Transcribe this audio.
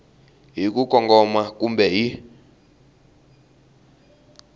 hi ku kongoma kumbe hi